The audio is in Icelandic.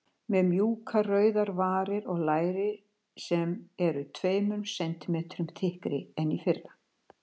Með mjúkar rauðar varir og læri sem eru tveimur sentímetrum þykkari en í fyrra.